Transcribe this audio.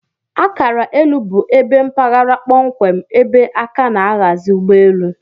Akara elu bu ebe mpaghara kpọmkwem ebe aka na aghazi ugbọ elụ.